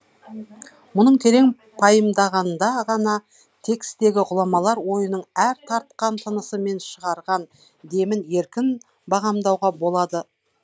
мұның терең пайымдағанда ғана текстегі ғұламалар ойының әр тартқан тынысы мен шығарған демін еркін бағамдауға болады